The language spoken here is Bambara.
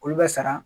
Olu bɛ sara